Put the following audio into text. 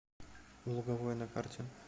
луговое на карте